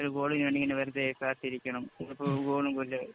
ഒരു ഗോളിന് വേണ്ടി ഇങ്ങനെ വെറുതെ കാത്തിരിക്കണം. ഒരു ഗോളുമില്ല.